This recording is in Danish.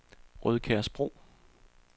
Rødkærsbro